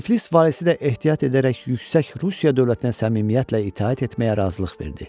Tiflis valisi də ehtiyat edərək yüksək Rusiya dövlətinə səmimiyyətlə itaət etməyə razılıq verdi.